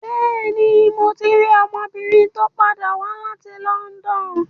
Bẹ́ẹ̀ni, mo ti rí ọmọbìnrin tó padà wá láti London.